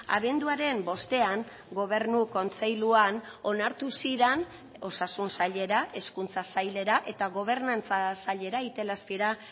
abenduaren bostean gobernu kontseiluan onartu ziren osasun sailera hezkuntza sailera eta gobernantza sailera itelazpira